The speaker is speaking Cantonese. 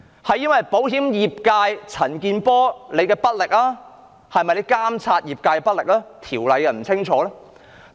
是因為保險業界的陳健波議員監察業界不力，條例訂得不清楚？